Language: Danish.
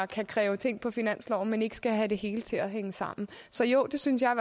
kan kræve ting på finansloven men ikke skal have det hele til at hænge sammen så jo det synes jeg